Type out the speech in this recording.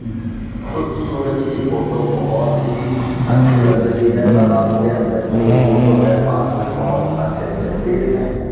उस सूरज की फोटो बोहोत ही अच्छी लग रही है तालाब के अंदर की ये फोटो है पास में बहुत अच्छे अच्छे पेड़ हैं।